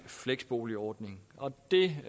fleksboligordningen og det